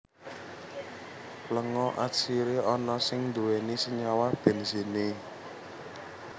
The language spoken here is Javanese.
Lenga atsiri ana sing nduwèni Senyawa Benzene